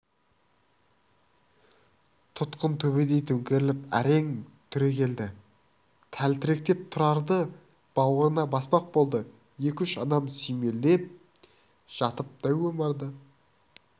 тұтқын төбедей төңкеріліп әрең түрегелді тәлтіректеп тұрарды бауырына баспақ болды екі-үш адам сүйемелдеп жатып дәу омарды